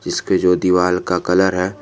इसके जो दीवाल का कलर है।